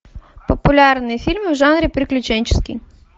популярные фильмы в жанре приключенческий